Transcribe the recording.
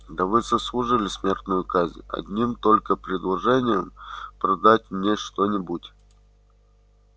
да вы заслужили смертную казнь одним только предложением продать мне что-нибудь